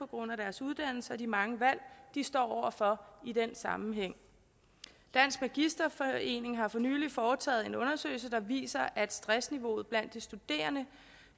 grund af deres uddannelse og de mange valg de står over for i den sammenhæng dansk magisterforening har for nylig foretaget en undersøgelse der viser at stressniveauet blandt de studerende